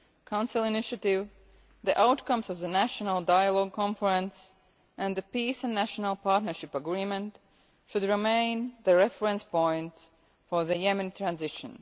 Council Initiative, the outcomes of the National Dialogue Conference and the Peace and National Partnership Agreement should remain the reference points for the Yemeni transition.